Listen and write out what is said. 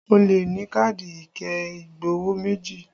O lè ní káàdì ike igbowó méjì